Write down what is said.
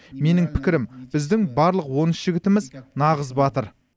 менің пікірім біздің барлық он үш жігітіміз нағыз батыр